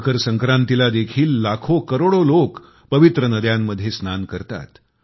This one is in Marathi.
मकर संक्रांतीला देखील लाखोकरोडो लोक पवित्र नद्यांमध्ये स्नान करतात